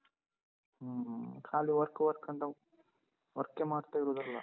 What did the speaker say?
ಹ್ಮ ಖಾಲಿ work work ಅಂತ work ಎ ಮಾಡ್ತಾ ಇರೂದಲ್ಲ.